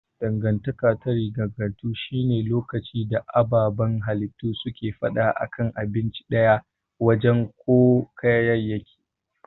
Dangantaka ta riganganto shi ne lokacin da ababan halittu suke fada a kan abinci daya, waje ko kayayyaki.